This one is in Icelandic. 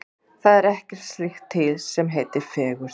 Það er ekkert slíkt til sem heitir fegurð.